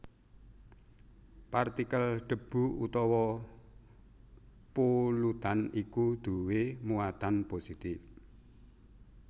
Partikel debu utawa polutan iku duwé muatan positif